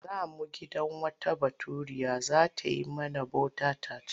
Za mu gidan wata Baturiya za ta yi mana bota-tat.